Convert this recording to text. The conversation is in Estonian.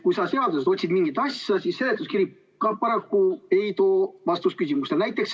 Kui otsida mingit asja, siis seletuskiri paraku ei anna küsimusele vastust.